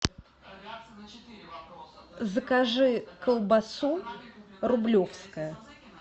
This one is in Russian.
закажи колбасу рублевская